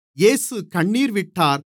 இயேசு கண்ணீர் விட்டார்